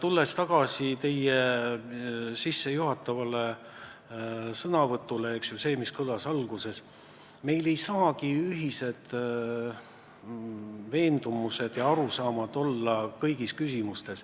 Tulles tagasi teie sissejuhatavate sõnade juurde, mis kõlasid alguses, pean märkima, et meil ei saagi olla kõigis küsimustes ühised veendumused ja arusaamad.